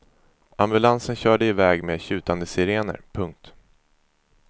Ambulansen körde iväg med tjutande sirener. punkt